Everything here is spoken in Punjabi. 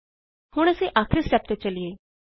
ਹੁਣ ਅਸੀਂ ਆਖਿਰੀ ਸਟੇਪ ਤੇ ਚਲਿਏ